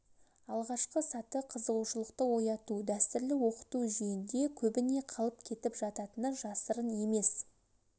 алғашқы саты қызығушылықты ояту дәстүрлі оқыту жүйенде көбіне қалып кетіп жататыны жасырын емес